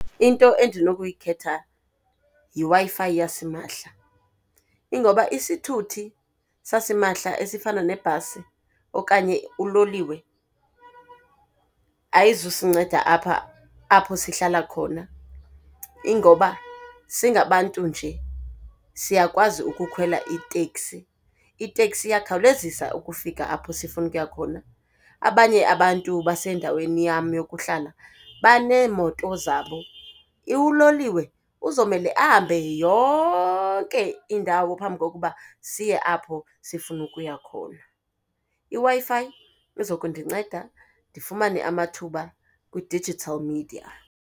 Into endinokuyikhetha yiWi-Fi yasimahla, ingoba isithuthi sasimahla esifana nebhasi okanye uloliwe ayizusinceda apha apho sihlala khona. Ingoba singabantu nje siyakwazi ukukhwela iteksi, iteksi iyakhawulezisa ukufika apho sifuna ukuya khona, abanye abantu basendaweni yam yokuhlala baneemoto zabo. Uloliwe uzomele ahambe yonke indawo phambi kokuba siye apho sifuna ukuya khona. IWi-Fi izokundinceda ndifumane amathuba kwi-digital media.